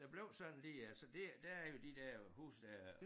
Der blev sådan lige øh så det der er jo de der huse der